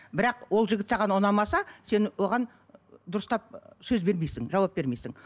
бірақ ол жігіт саған ұнамаса сен оған дұрыстап сөз бермейсің жауап бермейсің